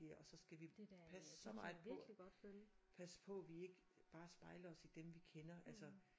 Ja og så skal vi passe så meget på passe på vi ikke bare spejler os i dem vi kender altså